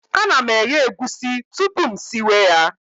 A na m eghe egwusi tupu m siwe ya